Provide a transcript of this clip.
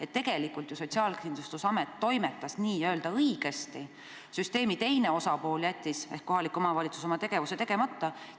et tegelikult toimetas Sotsiaalkindlustusamet ju n-ö õigesti, aga süsteemi teine osapool ehk kohalik omavalitsus jättis oma tegevuse tegemata?